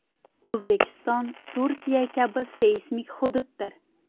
O‘zbekiston Turkiya kabi seysmik hududdir.